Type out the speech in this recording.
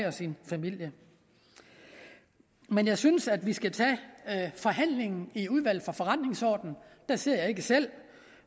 og sin familie men jeg synes at vi skal tage forhandlingen i udvalget for forretningsordenen der sidder jeg ikke selv